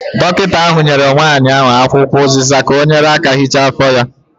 Dọkịta ahụ nyere nwanyị ahụ akwụkwọ ụziza ka ọ nyere aka hichaa afọ ya.